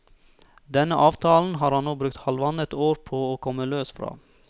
Denne avtalen har han nå brukt halvannet år på å komme løs fra.